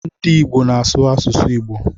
Ndị Ìgbo na-asụ asụsụ Igbo.